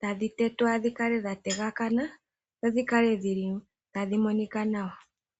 tadhi tetwa dhi kale dha yelekana, dho dhi kale dhi li tadhi monika nawa.